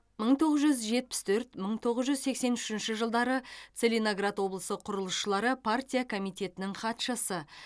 мың тоғыз жүз жетпіс төрт мың тоғыз жүз сексен үшінші жылдары целиноград облысы құрылысшылары партия комитетінің хатшысы